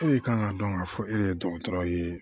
E de kan ka dɔn ka fɔ e yɛrɛ ye dɔgɔtɔrɔ ye